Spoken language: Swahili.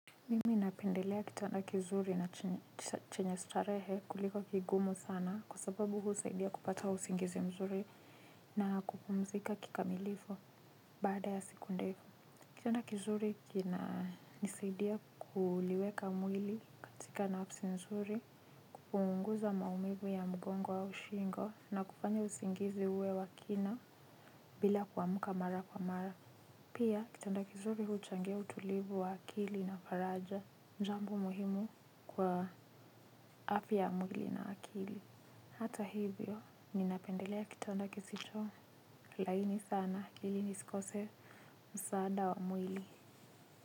Mimi napendelea kitanda kizuri na chenye starehe kuliko kigumu sana kwa sababu husaidia kupata usingizi mzuri na kupumzika kikamilifu baada ya sekunde. Kitanda kizuri kinanisaidia kuliweka mwili katika nafsi nzuri. Kupunguza maumivu ya mgongo au shingo na kufanya usingizi uwe wa kina bila kuamka mara kwa mara. Pia kitanda kizuri huchangia utulivu wa akili na faraja jambo muhimu kwa afya ya mwili na akili hata hivyo ninapendelea kitanda kisicho laini sana ili nisikose msaada wa mwili.